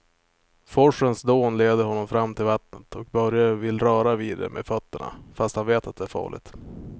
Forsens dån leder honom fram till vattnet och Börje vill röra vid det med fötterna, fast han vet att det är farligt.